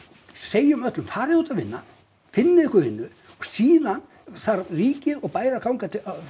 segjum öllum farið út að vinna finnið ykkur vinnu og síðan þarf ríkið og bær að ganga